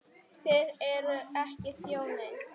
Þið eruð ekki þjóðin!